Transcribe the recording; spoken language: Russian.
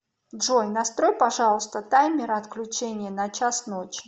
джой настрой пожалуйста таймер отключения на час ночи